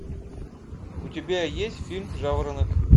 у тебя есть фильм жаворонок